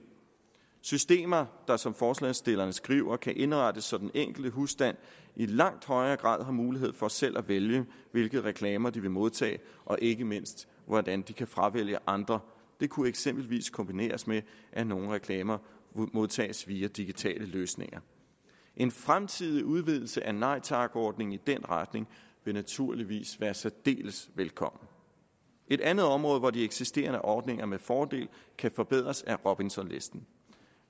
systemer der som forslagsstillerne skriver kan indrettes så den enkelte husstand i langt højere grad har mulighed for selv at vælge hvilke reklamer de vil modtage og ikke mindst hvordan de kan fravælge andre det kunne eksempelvis kombineres med at nogle reklamer modtages via digitale løsninger en fremtidig udvidelse af nej tak ordningen i den retning vil naturligvis være særdeles velkommen et andet område hvor de eksisterende ordninger med fordel kan forbedres er robinsonlisten